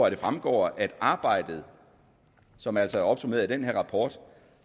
at det fremgår at arbejdet som altså er opsummeret i den her rapport